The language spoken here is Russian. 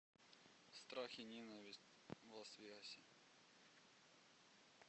страх и ненависть в лас вегасе